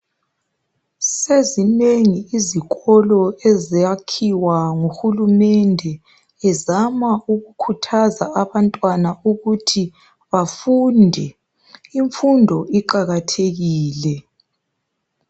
Sezinengi izikolo ezakhiwa nguhulumende ezama ukukhuthaza abantwana ukuthi bafunde. Imfundo iqakathekile.